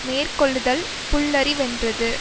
மேற்கொள்ளுதல் புல்லறிவென்றது